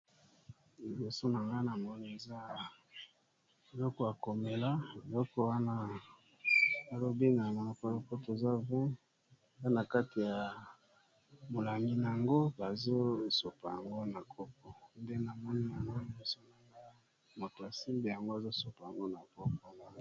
Liboso na nga na moni eza eloko akomela loko wana alobengana paloko toza 2in ana kati ya molami na yango bazosopa yango na kopo nde na moni ano emisionaga moto asimbe yango azosopa yango na pokona.